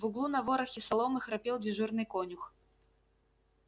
в углу на ворохе соломы храпел дежурный конюх